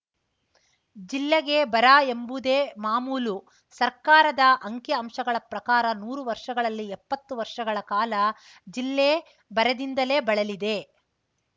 ಜಿಲ್ಲೆಗೆ ಬರ ಎಂಬುದೇ ಮಾಮೂಲು ಸರ್ಕಾರದ ಅಂಕಿ ಅಂಶಗಳ ಪ್ರಕಾರ ನೂರು ವರ್ಷಗಳಲ್ಲಿ ಎಪ್ಪತ್ತು ವರ್ಷಗಳ ಕಾಲ ಜಿಲ್ಲೆ ಬರದಿಂದಲೇ ಬಳಲಿದೆ